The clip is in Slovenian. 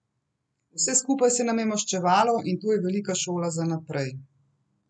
Vse skupaj se nam je maščevalo in to je velika šola za naprej.